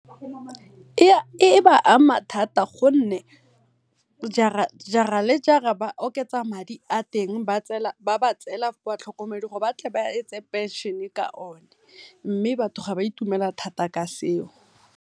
E ba ama thata gonne jara le jara ba oketsa madi a teng ba ba tseela batlhokomedi gore ba kgone gore ba tle ba etse phenšene ka one mme batho ga ba itumela thata ka seo.